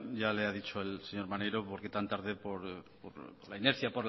ya le ha dicho el señor maneiro por qué tan tarde por la inercia